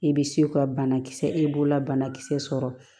I bɛ se ka banakisɛ e b'o la banakisɛ sɔrɔ